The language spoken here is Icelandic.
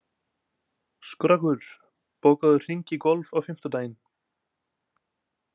Skröggur, bókaðu hring í golf á fimmtudaginn.